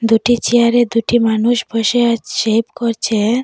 দুটি চেয়ারে দুটি মানুষ বসে শেভ করছে।